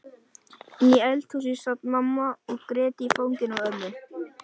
Inni í eldhúsi sat mamma og grét í fanginu á ömmu.